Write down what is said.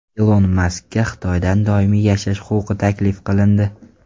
Ilon Maskka Xitoyda doimiy yashash huquqi taklif qilindi.